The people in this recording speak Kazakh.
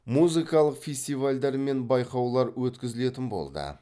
музыкалық фестивальдар мен байқаулар өткізілетін болды